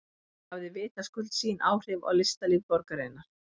Þetta hafði vitaskuld sín áhrif á listalíf borgarinnar.